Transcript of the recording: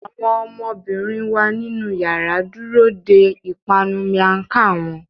Awọn ọmọbirin wa ninu yàrá dúró dè ipanu miang Khan wón